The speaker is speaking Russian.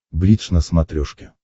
бридж на смотрешке